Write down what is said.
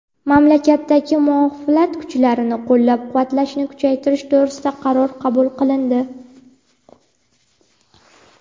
mamlakatdagi muxolifat kuchlarini qo‘llab-quvvatlashni kuchaytirish to‘g‘risida qaror qabul qilindi.